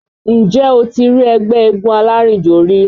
Ǹjẹ́ o ti rí ẹgbẹ́ eégún alárìnjò rí?